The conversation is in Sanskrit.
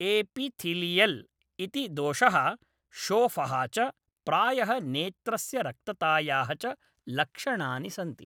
एपिथीलियल् इति दोषः, शोफः च, प्रायः नेत्रस्य रक्ततायाः च लक्षणानि सन्ति।